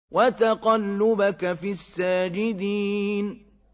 وَتَقَلُّبَكَ فِي السَّاجِدِينَ